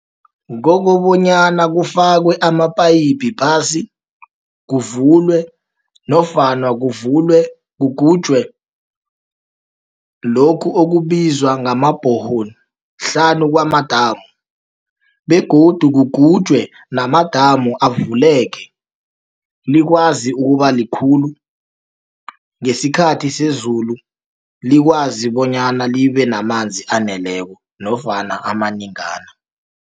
Kokobonyana kufakwe amaphayiphi phasi, kuvulwe nofana kugutjwe lokhu okubizwa ngama-borehole hlanu kwamadamu, begodu kugutjwe namadamu avuleke, likwazi ukubalikhulu ngesikhathi sezulu, likwazi bonyana libenamanzi aneleko nofana amanengana.